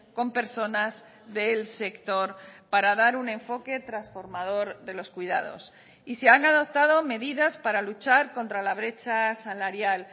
con personas del sector para dar un enfoque transformador de los cuidados y se han adoptado medidas para luchar contra la brecha salarial